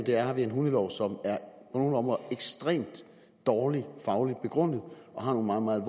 her har vi en hundelov som på nogle områder ekstremt dårligt fagligt begrundet og har nogle meget meget